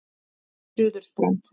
Suðurströnd